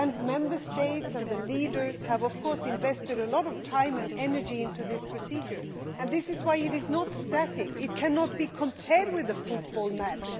Member States and their leaders have, of course, invested a lot of time and energy in this procedure and this is why it is not static it cannot be compared with a football match.